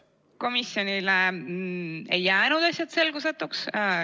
Komisjonile ei jäänud asjad selgusetuks.